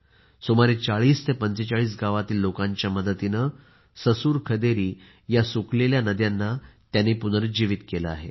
सुमारे 40 ते 45 गावातील लोकांच्या मदतीने ससुर खदेरी या सुखालेल्या नद्यांना पुनरुजीवीत केले आहे